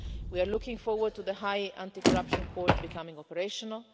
We are looking forward to the High Anti corruption Court becoming operational.